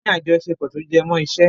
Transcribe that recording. Wọ́n ní àjọṣepọ̀ tó jẹmọ́ iṣẹ́.